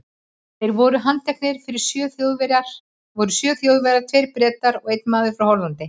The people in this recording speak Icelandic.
Þeir sem voru handteknir voru sjö Þjóðverjar, tveir Bretar og einn maður frá Hollandi.